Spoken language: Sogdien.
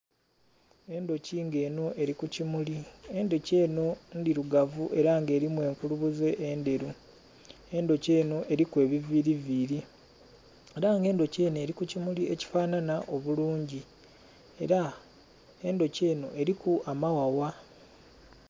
Endhoki nga enho eri ku kimuli, endhoki endhoki ndhirugavu era nga erimu enkulunuze endheru, endhoki enho eriku ebiviri viri era nga endhoki enhonerinku kimuli ekifanana obulungi era endhoki enho eriku amaghagha.